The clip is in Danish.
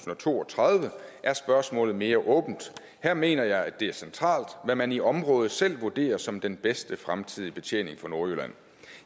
to og tredive er spørgsmålet mere åbent her mener jeg det er centralt hvad man i området selv vurderer som den bedste fremtidige betjening for nordjylland